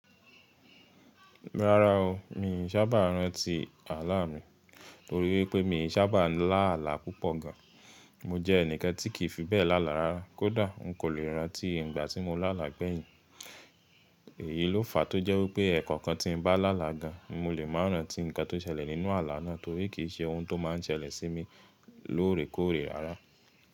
Rárá o, mi i sábà rántí ààlà mi torí wípé mi i sábà lálà púpọ̀ gan. Mo jẹ́ ẹnìkan tí kì í fi bẹ́ẹ̀ lálà rárá, kódà n kò lè rántí ìgbà tí mo lálà gbẹ̀yìn. Èyí ló fàá tó jẹ́ wípé ẹ̀ẹ̀kọ̀kan tí n bá lálà gan, mo lè máa rántí ǹkan tó ṣẹlẹ̀ nínú ààlà náà torí kì í ṣe ohun tó máa n ṣẹlẹ̀ sí mi lóòrèkóòrè rárá.